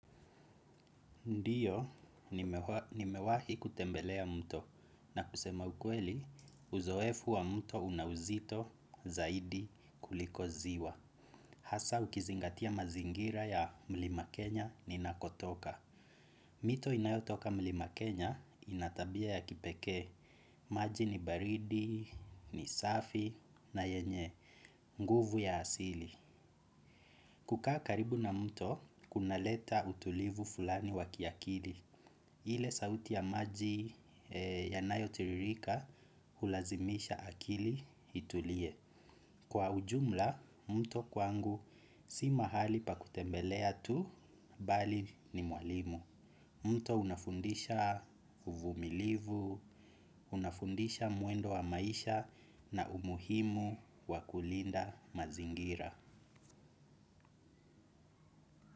Ndiyo, nimewahi kutembelea mto na kusema ukweli, uzoefu wa mto unauzito zaidi kuliko ziwa. Hasa ukizingatia mazingira ya mlima Kenya ninakotoka. Mito inayotoka mlima Kenya, inatabia ya kipekee. Maji ni baridi, ni safi, na yenye. Nguvu ya hasili. Kukaa karibu na mto, kuna leta utulivu fulani wa kiakili. Ile sauti ya maji yanayo tiririka hulazimisha akili itulie. Kwa ujumla, mto kwangu si mahali pa kutembelea tu, bali ni mwalimu. Mto unafundisha uvumilivu, unafundisha mwendo wa maisha na umuhimu wakulinda mazingira.